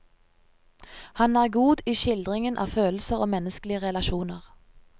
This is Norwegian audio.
Han er god i skildringen av følelser og menneskelige relasjoner.